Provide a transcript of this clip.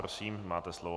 Prosím, máte slovo.